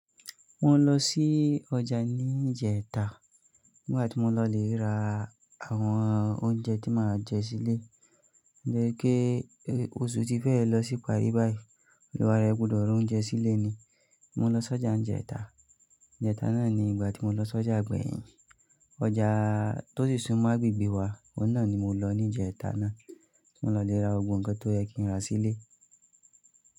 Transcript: Mo lọ sí ọjà ní ìjẹta nígbà tí mo lọ re ra àwọn oúnjẹ tí màá jẹ sílé. Gbọ́ pé oṣù tí fẹ́ lọ síparí báyìí, èlò wa ara gbúdọ̀ rán oúnjẹ sílé ni. Mo lọ sí ọjà ní ìjẹta. Ìjẹta náà ni ìgbà tí mo lọ sí ọjà gbẹ̀yìn. Ọjà tó sì sún mọ́ agbègbè wa, ọ̀nà náà ni mo lọ ní ìjẹta náà. Mo lọ lè ra gbogbo nkan tó yẹ kí n ra sílé.